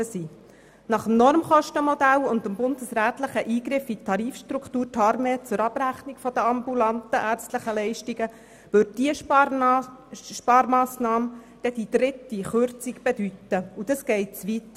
Gemäss dem Normkostenmodell und dem bundesrechtlichen Eingriff in die Tarifstruktur TARMED zur Abrechnung der ambulanten ärztlichen Leistungen würden diese Sparmassnahmen die dritte Kürzung bedeuten – und das geht zu weit.